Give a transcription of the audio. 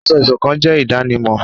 Asọ̀-ìsokán jé idanimọ